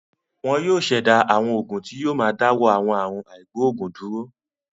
Wọn yóò ṣẹ̀dá àwọn oògùn tí yóò máa dáwọ́ àwọn àrùn àìgboògùn dúró.